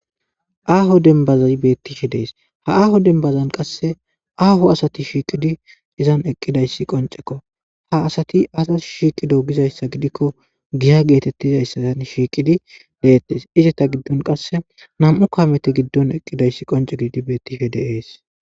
Aaho denbazi bettishe dees ha aaho denbazan qasse aaho asati shiiqidi izan eqqidayssi qoncekko ha asati asat shiiqido gizayssa gidikko giya geetettizayssaan shiiqidi deettes izata giddon qasse nam7u kaamete giddon eqqidayssi qonce gidi bettihe deees.